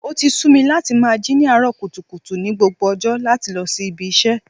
O ti sú mi láti máa jí ní àárọ̀ kùtùkùtù ni gbogbo ọjọ́ láti lọ sí ibi iṣẹ́.